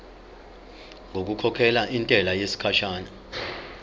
ngokukhokhela intela yesikhashana